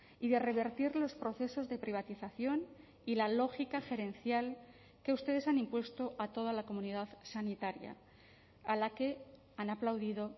y de revertir los procesos de privatización y la lógica gerencial que ustedes han impuesto a toda la comunidad sanitaria a la que han aplaudido